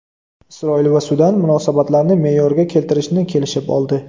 Isroil va Sudan munosabatlarni me’yorga keltirishni kelishib oldi.